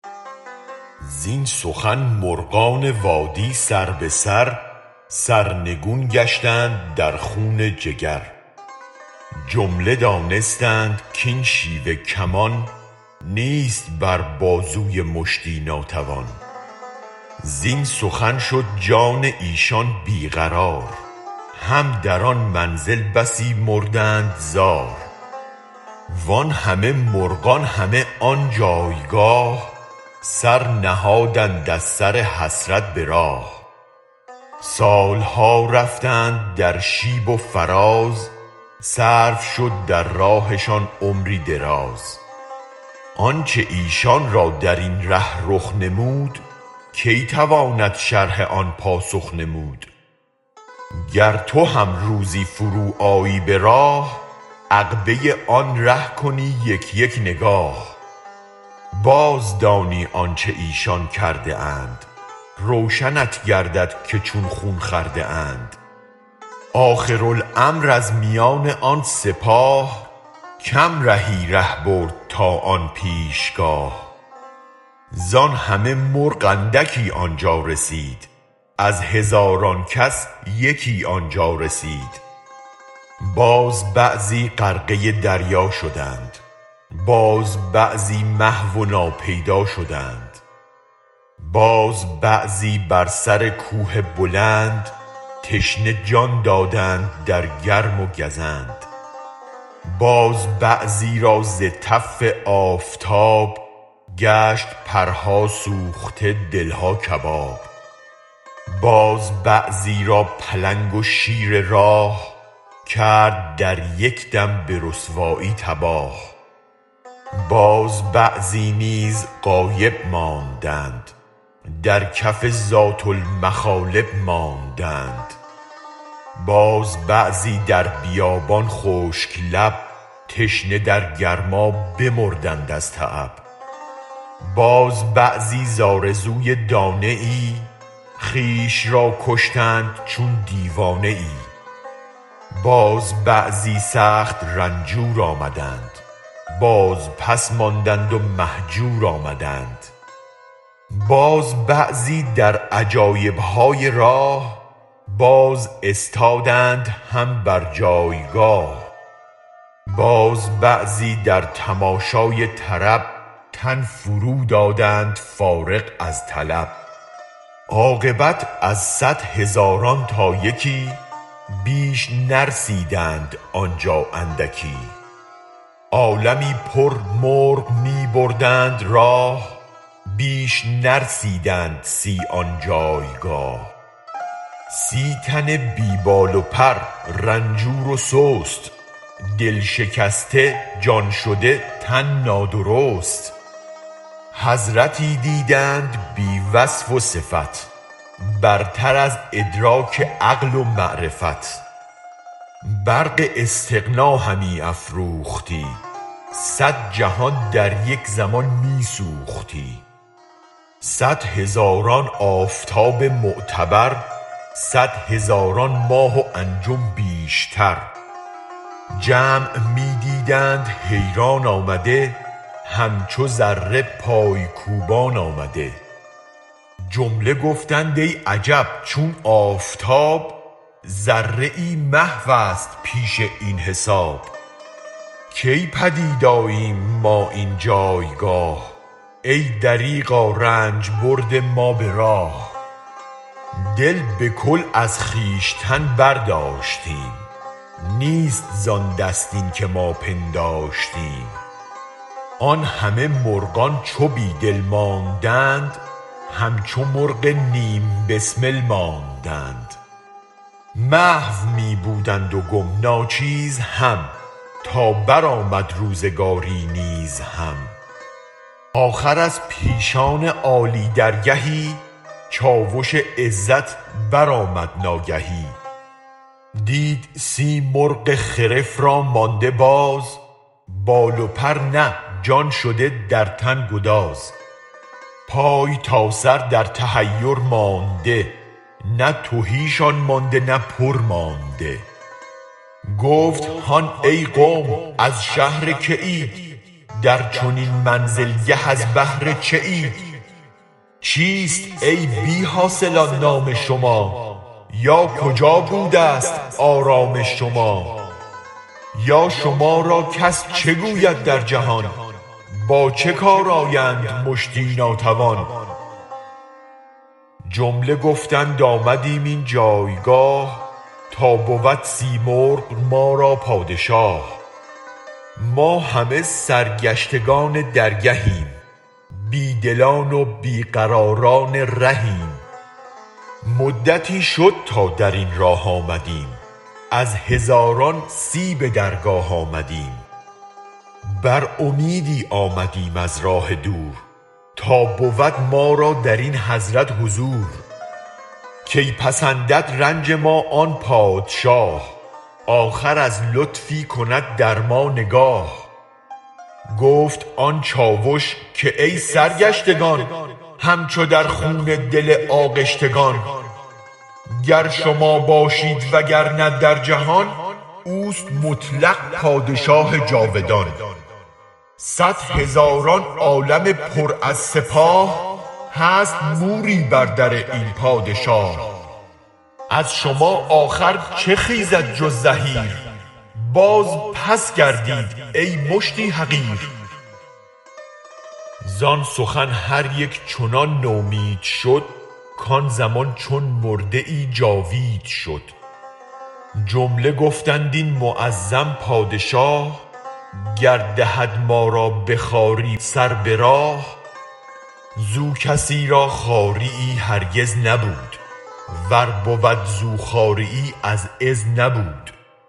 زین سخن مرغان وادی سر به سر سرنگون گشتند در خون جگر جمله دانستند کین شیوه کمان نیست بر بازوی مشتی ناتوان زین سخن شد جان ایشان بی قرار هم در آن منزل بسی مردند زار وان همه مرغان همه آن جایگاه سر نهادند از سر حسرت به راه سالها رفتند در شیب و فراز صرف شد در راهشان عمری دراز آنچ ایشان را درین ره رخ نمود کی تواند شرح آن پاسخ نمود گر تو هم روزی فروآیی به راه عقبه آن ره کنی یک یک نگاه بازدانی آنچ ایشان کرده اند روشنت گردد که چون خون خورده اند آخر الامر از میان آن سپاه کم رهی ره برد تا آن پیش گاه زان همه مرغ اندکی آنجا رسید از هزاران کس یکی آنجا رسید باز بعضی غرقه دریا شدند باز بعضی محو و ناپیدا شدند باز بعضی بر سر کوه بلند تشنه جان دادند در گرم و گزند باز بعضی را ز تف آفتاب گشت پرها سوخته دلها کباب باز بعضی را پلنگ و شیر راه کرد در یک دم به رسوایی تباه باز بعضی نیز غایب ماندند در کف ذات المخالب ماندند باز بعضی در بیابان خشک لب تشنه در گرما بمردند از تعب باز بعضی ز آرزوی دانه ای خویش را کشتند چون دیوانه ای باز بعضی سخت رنجور آمدند باز پس ماندند و مهجور آمدند باز بعضی در عجایب های راه باز استادند هم بر جایگاه باز بعضی در تماشای طرب تن فرو دادند فارغ از طلب عاقبت از صد هزاران تا یکی بیش نرسیدند آنجا اندکی عالمی پر مرغ می بردند راه بیش نرسیدند سی آن جایگاه سی تن بی بال و پر رنجور و سست دل شکسته جان شده تن نادرست حضرتی دیدند بی وصف وصفت برتر از ادراک عقل و معرفت برق استغنا همی افروختی صد جهان در یک زمان می سوختی صد هزاران آفتاب معتبر صد هزاران ماه و انجم بیشتر جمع می دیدند حیران آمده همچو ذره پای کوبان آمده جمله گفتند ای عجب چون آفتاب ذره محوست پیش این حساب کی پدید آییم ما این جایگاه ای دریغا رنج برد ما را به راه دل به کل از خویشتن برداشتیم نیست زان دست این که ما پنداشتیم آن همه مرغان چو بی دل مانده اند همچو مرغ نیم بسمل مانده اند محو می بودند و گم ناچیز هم تا برآمد روزگاری نیز هم آخر از پیشان عالی درگهی چاوش عزت برآمد ناگهی دید سی مرغ خرف را مانده باز بال و پرنه جان شده در تن گداز پای تا سر در تحیر مانده نه تهی شان مانده نه پر مانده گفت هان ای قوم از شهر که اید در چنین منزل گه از بهر چه اید چیست ای بی حاصلان نام شما یا کجا بودست آرام شما یا شما را کس چه گوید در جهان با چه کارآیند مشتی ناتوان جمله گفتند آمدیم این جایگاه تا بود سیمرغ ما را پادشاه ما همه سرگشتگان درگهیم بی دلان و بی قراران رهیم مدتی شد تا درین راه آمدیم از هزاران سی به درگاه آمدیم بر امیدی آمدیم از راه دور تا بود ما را درین حضرت حضور کی پسندد رنج ما آن پادشاه آخر از لطفی کند در ما نگاه گفت آن چاوش کای سرگشتگان همچو در خون دل آغشتگان گر شما باشید و گرنه در جهان اوست مطلق پادشاه جاودان صد هزاران عالم پر از سپاه هست موری بر در این پادشاه از شما آخر چه خیزد جز زحیر بازپس گردید ای مشتی حقیر زان سخن هر یک چنان نومید شد کان زمان چون مرده جاوید شد جمله گفتند این معظم پادشاه گر دهد ما را به خواری سر به راه زو کسی را خواریی هرگز نبود ور بود زو خواریی از عز نبود